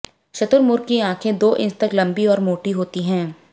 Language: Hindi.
शुतुरमुर्ग की आंखें दो इंच तक लंबी और मोटी होती हैं